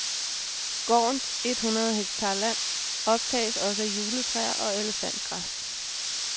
Gårdens et hundrede hektar land optages også af juletræer og elefantgræs.